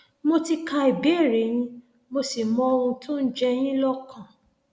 mo ti ka ìbéèrè yín mo sì mọ ohun tó ń ń jẹ yín lọkàn